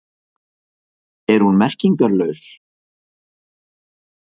Er hún merkingarlaus?